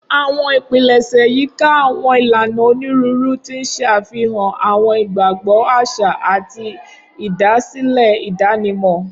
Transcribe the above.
Awọn ipilẹṣẹ yika awọn ilana oniruuru, ti n ṣe afihan awọn igbagbọ aṣa ati idasile idanimọ.